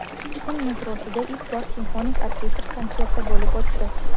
Toshkent metrosida ilk bor simfonik orkestr konserti bo‘lib o‘tdi.